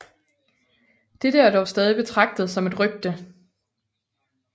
Dette er dog stadig betragtet som et rygte